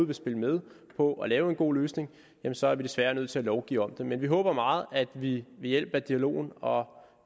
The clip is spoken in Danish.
vil spille med på at lave en god løsning så er vi desværre nødt til at lovgive om det men vi håber meget at vi ved hjælp af dialogen og